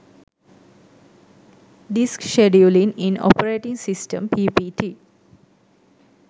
disk scheduling in operating system ppt